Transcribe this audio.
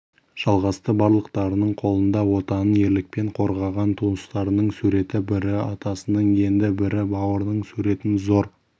жалғасты барлықтарының қолында отанын ерлікпен қорғаған туыстарының суреті бірі атасының енді бірі бауырының суретін зор